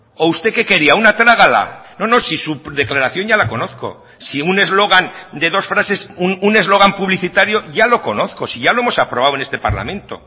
o usted qué quería una trágala no no si su declaración ya la conozco si un eslogan de dos frases un eslogan publicitario ya lo conozco si ya lo hemos aprobado en este parlamento